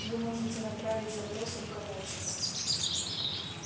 вы можете направить запрос руководству